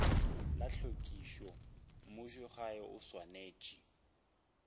la tlhwekišo mmušogae o swanetše